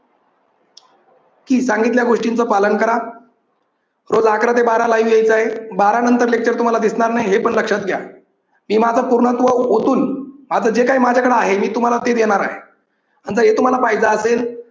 कि सांगितल्या गोष्टींच पालन करा. रोज अकरा ते बारा live यायचं आहे. बारा नंतर लेक्चर तुम्हाला दिसणार नाही. हे पण लक्षात घ्या. मी माझं पूर्णत्व ओतून आता जे काही माझ्याकडे आहे ते मी तुम्हाला देणार आहे. जर हे तुम्हाला पाहायचं असेल